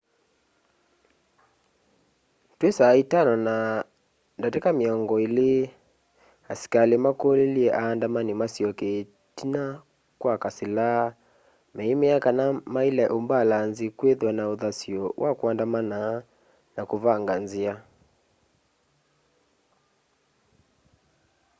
twi 11:20 asikali makulilye aandamani masyoke itina kwa kasila meimea kana maila umbalanzi kwithwa na uthasyo wa kuandamana na kuvunga nzia